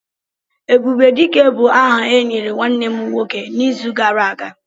"Ebubedike" bu áhà e nyere nwanne m nwoke n''izu gara aga